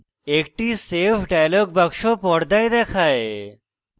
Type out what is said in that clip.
একটি save dialog box পর্দায় দেখায়